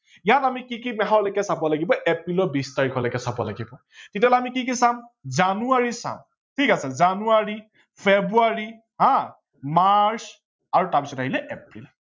ইয়াত আমি কি কি মাহলেকে চাব লাগিব এপ্ৰিলৰ বিছ তাৰিখলৈকে চাব লাগিব তেতিয়া হলে আমি কি কি চাম জনুৱাৰী চাম ঠিক আছে জানুৱাৰী, ফেব্ৰুৱাৰ হা মাৰ্চ তাৰ পাছত আহিলে এপ্ৰিল